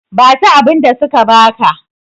basu abinda suka baka!